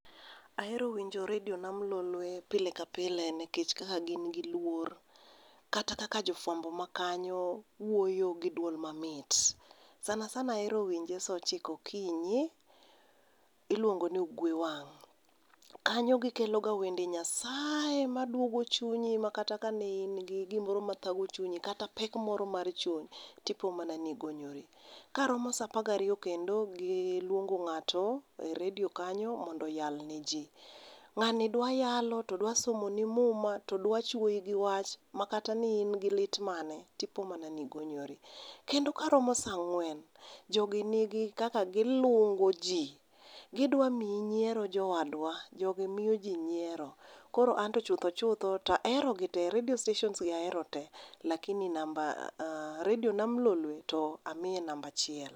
Ahero winjo redio nam lolwe pile ka pile nikech ka gin gi luor. Kata kaka jofuambo makanyo wuoyo gi duol mamit. Sana sana ahero winje saa ochiko okinyi, iluongo ni Ugwe Wang', kanyo gikeloga wende nyasaye maduogo chinyi makata kane in gi gimoro mathago chunyi kata pek moro mar chuny to ipo mana ni igonyori. Karomo saa apar gariyo kendo giluongo ng'to e redio kanyo mondo oyal neji. Ng'ani dwa yalo to dwa somoni muma to dwa chwoyi gi wach makata ne in gi lit mane to ipo mana ni igonyori. Kendo karomo saa ang'wen jogi ni gi kaka giluongo ji, gidwa miyi nyiero jowadwa, jogi miyoji nyiewro koro an to to chuthoi chutho to aherogi te. Redio stations gi ahero te lakini namba redi nam lolwe to amiyo namba achiel.